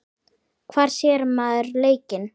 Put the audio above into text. Hvar sér maður leikinn?